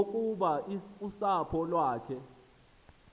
yokuba usapho lwakhe